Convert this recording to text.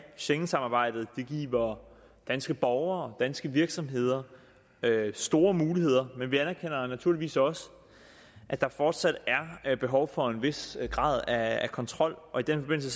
schengensamarbejdet det giver danske borgere danske virksomheder store muligheder men vi anerkender naturligvis også at der fortsat er behov for en vis grad af kontrol og i den forbindelse